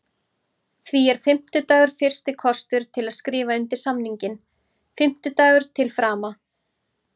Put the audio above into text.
Því er fimmtudagur fyrsti kostur til að skrifa undir samninginn, fimmtudagur til frama.